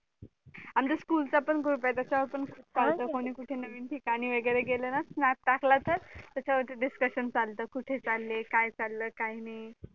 आमच्या school चा पण group आहे त्याच्या वर पण खूप चालत कोणी कुठे नवीन ठिकाणी वैगरे गेलं ना snap टाकला तर त्याच्या वरती discusstion चालत कुठे चालले काय चालले काय खाल्लं काय नाही